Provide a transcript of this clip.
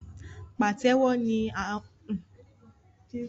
Pàtẹ́wo jẹ́ àwọn bíraidi ti ó jọmọ ọwọ